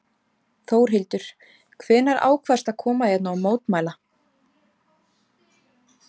Þórhildur: Hvenær ákvaðstu að koma hérna og mótmæla?